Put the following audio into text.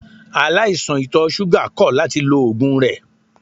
Aláìsàn ìtọ̀ ṣúgà kọ̀ láti lo oògùn rẹ̀.